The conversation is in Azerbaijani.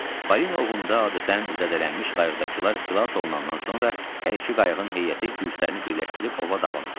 Balina ovunda adətən zədələnmiş qayıqdakılar xilas olunandan sonra hər iki qayıqın heyəti güclərini birləşdirib ova davam edirlər.